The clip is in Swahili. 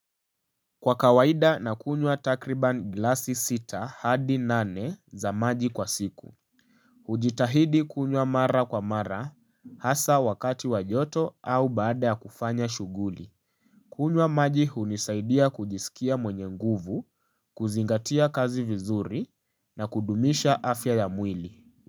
Kwa kawaida na kunywa takriban glasi sita hadi nane za maji kwa siku. Hujitahidi kunywa mara kwa mara hasa wakati wa joto au baada ya kufanya shughuli kunywa maji hunisaidia kujisikia mwenye nguvu, kuzingatia kazi vizuri na kudumisha afya ya mwili.